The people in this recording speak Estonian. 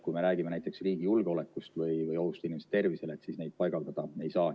Kui me räägime näiteks riigi julgeolekust või ohust inimeste tervisele, siis neid paigaldada ei saa.